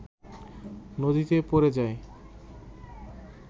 নদীতে পড়ে যায়